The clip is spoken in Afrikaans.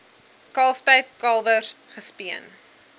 kalftyd kalwers gespeen